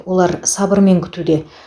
олар сабырмен күтуде